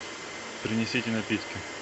принесите напитки